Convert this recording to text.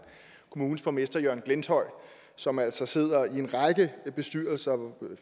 kommunes borgmester jørgen glenthøj som altså sidder i en række bestyrelser